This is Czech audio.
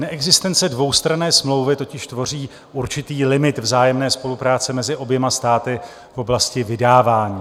Neexistence dvoustranné smlouvy totiž tvoří určitý limit vzájemné spolupráce mezi oběma státy v oblasti vydávání.